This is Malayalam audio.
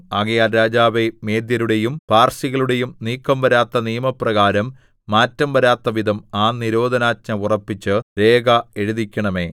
ആകയാൽ രാജാവേ മേദ്യരുടെയും പാർസികളുടെയും നീക്കം വരാത്ത നിയമപ്രകാരം മാറ്റം വരാത്തവിധം ആ നിരോധനാജ്ഞ ഉറപ്പിച്ച് രേഖ എഴുതിക്കണമേ